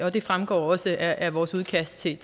og det fremgår også af vores udkast til